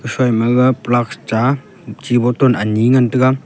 phaima gaga plux cha chi botton ani ngantaga.